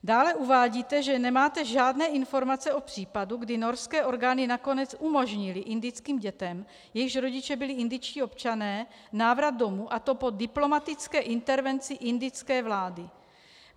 Dále uvádíte, že nemáte žádné informace o případu, kdy norské orgány nakonec umožnily indickým dětem, jejichž rodiče byli indičtí občané, návrat domů, a to po diplomatické intervenci indické vlády.